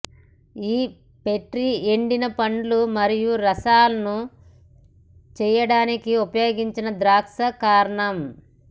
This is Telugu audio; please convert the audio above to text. ఈ ప్రెట్టీ ఎండిన పండ్లు మరియు రసాలను చేయడానికి ఉపయోగించిన ద్రాక్ష కారణం